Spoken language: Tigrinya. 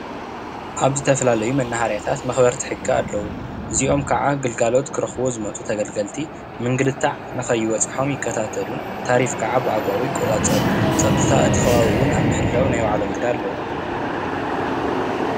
ኣብ ዝተፈላለዩ መናሃርያታት መኽበሪቲ ሕጊ ኣለዉ። እዚኦም ካዓ ግልጋሎት ክረኽቡ ዝመፅኡ ተገልገልቲ ምንግልታዕ ንከይበፅሖም ይከታተሉ ታሪፍ ካዓ ብኣገባቡ ይቆፃፀሩ። ፀጥታ እቲ ከባቢ እውን ናይ ምሕላው ናይ ባዕሎም ግደ ኣለዎም።